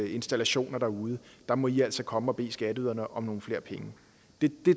installationer derude der må i altså komme og bede skatteyderne om nogle flere penge det